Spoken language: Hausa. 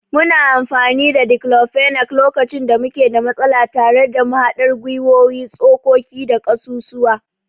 Muna amfani da declofenac lokacin da muke da matsala tare da mahaɗar gwiwowi, tsokoki da ƙasusuwa.